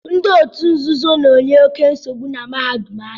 Ndị otu nzuzo na-enye oké nsogbu na mahadum anyị